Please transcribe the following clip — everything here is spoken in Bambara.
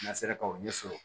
N'a sera k'o ɲɛ sɔrɔ